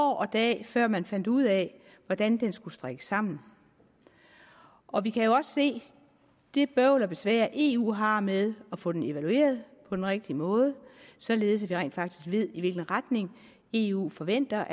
og dag før man fandt ud af hvordan den skulle strikkes sammen og vi kan jo også se det bøvl og besvær eu har med at få den evalueret på den rigtige måde således at vi rent faktisk ved i hvilken retning eu forventer